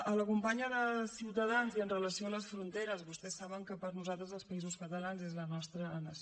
a la companya de ciutadans i amb relació a les fronteres vostès saben que per nosaltres els països catalans és la nostra nació